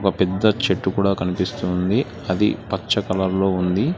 ఒక పెద్ద చెట్టు కూడా కనిపిస్తుంది అది పచ్చ కలర్ లో ఉంది.